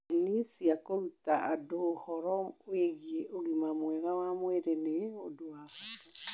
Kambĩni cia kũruta andũ ũhoro wĩgiĩ ũgima mwega wa mwĩrĩ nĩ ũndũ wa bata.